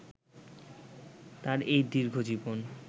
তাঁর এই দীর্ঘজীবন